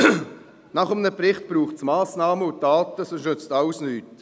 Nach einem Bericht braucht es Massnahmen und Taten, sonst nützt alles nichts.